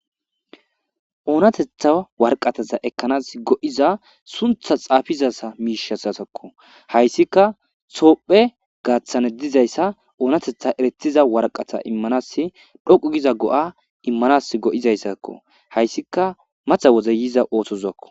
Oonatetha warqataza ekkanas go'iza suntha xaafizasa miishasasakko hayssika soohphe gaaththane dizayssa oonatetha eretiza warqata immanas dhoqu giza go'a immanas go'izayssakko hayssika matha woze yiza oothozakko.